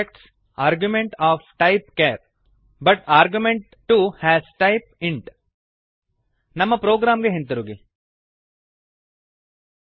format160s expects argument of type char but argument 2 has type int format percent s expects argument of type char but argument two has type int